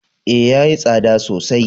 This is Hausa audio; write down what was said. Ee, ya yi tsada sosai.